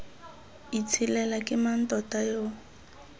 itshelela ke mang tota yo